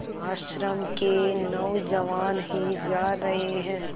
आश्रम के नौजवान ही जा रहे हैं